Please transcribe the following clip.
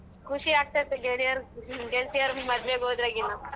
ಖುಷಿ ಆಗ್ತೈತೆ ಗೆಳೆಯರು, ಗೆಳ್ತಿಯರು ಮದ್ವೆ ಆಗ್ ಹೋದ್ರಗಿನ.